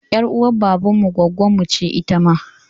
Ƴar uwar baban mu gwaggonmu ce ita ma.